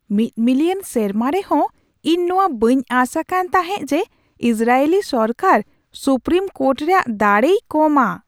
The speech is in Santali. ᱢᱤᱫ ᱢᱤᱞᱤᱭᱚᱱ ᱥᱮᱨᱢᱟ ᱨᱮᱦᱚᱸ ᱤᱧ ᱱᱚᱣᱟ ᱵᱟᱹᱧ ᱟᱸᱥ ᱟᱠᱟᱱ ᱛᱟᱦᱮᱸᱜ ᱡᱮ ᱤᱥᱨᱟᱭᱮᱞᱤ ᱥᱚᱨᱠᱟᱨ ᱥᱩᱯᱨᱤᱢ ᱠᱳᱨᱴ ᱨᱮᱭᱟᱜ ᱫᱟᱲᱮᱭ ᱠᱚᱢᱟ ᱾